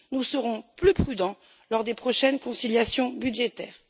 Nous serons plus prudents lors des prochaines conciliations budgétaires.